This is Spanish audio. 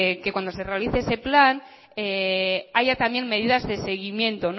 que cuando se realice ese plan haya también medidas de seguimiento